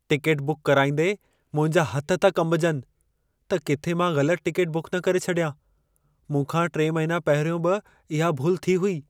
Ticket book कराईंदे मुंहिंजा हथ था कंबजनि, त किथे मां ग़लत टिकेट बुक न करे छॾियां। मूं खां 3 महिना पहिरियों बि इहा भुल थी हुई।